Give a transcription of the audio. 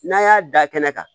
N'an y'a da kɛnɛ kan